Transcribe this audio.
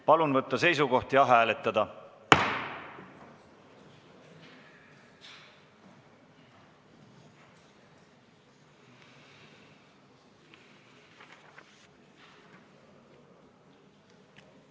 Palun võtta seisukoht ja hääletada!